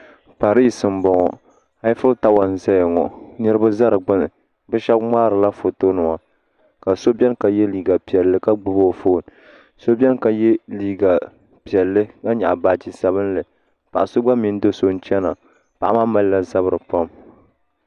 Pariisi m-bɔŋɔ Ɛfotali n-zaya ŋɔ niriba za digbuni bɛ shɛba ŋmaarila foto nima ka so beni ka ye liiga piɛlli ka gbubi o fooni so beni ka ye liiga piɛlli ka nyaɣi baagi sabinli paɣ' so gba mini do' so n-chana paɣa maa mali la zabiri pam